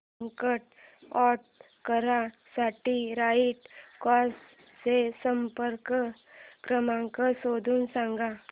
second hand car साठी right cars चा संपर्क क्रमांक शोधून सांग